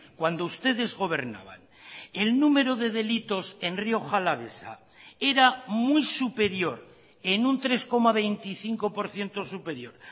cuando ustedes gobernaban el número de delitos en rioja alavesa era muy superior en un tres coma veinticinco por ciento superior